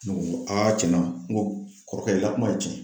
Ne ko cɛnna n ko kɔrɔkɛ ka kuma ye cɛn ye.